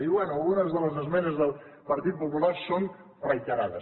diu bé algunes de les esmenes del partit popular són reiterades